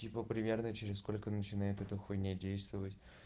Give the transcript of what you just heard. типа примерно через сколько начинает это хуйня действовать